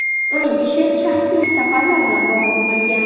Uning ishi shaxsiy safarlar bilan bog‘liq bo‘lgan.